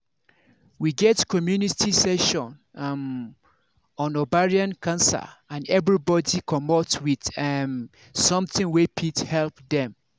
we get community session um on ovarian cancer and everybody commot with um something wey fit help dem